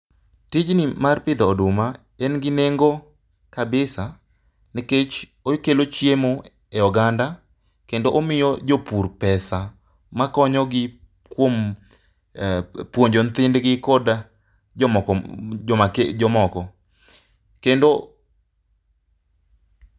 Tijni mar pidho oduma, en gi nengo kabisa nikech okelo chiemo e i oganda kendo omiyo jopur pesa ma konyo gi kuom puonjo nyithind gi kod jo moko jo moko kendo.